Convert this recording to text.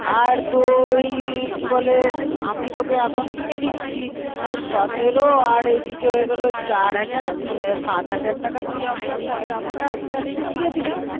আর তুই কিবলে, আমি তোকে এখন কিনে দিচি. তাহলে সতেরো আর এদিকে চার হাজার আর তিন হাজার সাথ হাজার টাকা তুই আপনা পরে আমাকে আস্তে আস্তে দিয়েদিবি